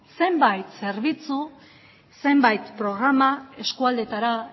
zenbait zerbitzu zenbait programa eskualdeetara